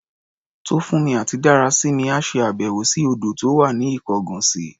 Tófúnmi àti Dárasími á ṣe àbẹ̀wò sí odò tó wà ní Ikongosi.